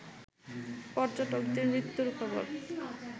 পর্যটকদের মৃত্যুর খবর